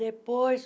Depois...